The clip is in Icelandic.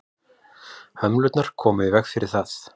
hömlurnar koma í veg fyrir það